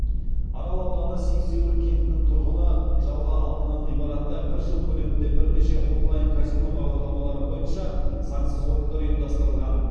арал ауданы сексеуіл кентінің тұрғыны жалға алынған ғимаратта бір жыл көлемінде бірнеше онлайн казино бағдарламалары бойынша заңсыз ойындар ұйымдастырылған